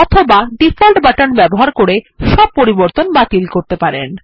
অথবা default button ব্যবহার করে সব পরিবর্তন বাতিল করতে পারেন